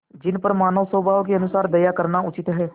जिन पर मानवस्वभाव के अनुसार दया करना उचित है